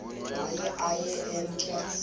waye aye emke